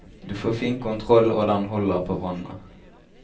Du får fin kontroll og den holder på vannet.